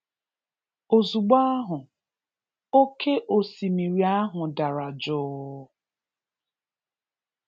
Ozugbọ ahụ, oké osimiri ahụ dara jụụ.